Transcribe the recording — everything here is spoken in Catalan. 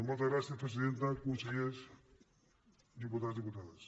moltes gràcies presidenta consellers diputats diputades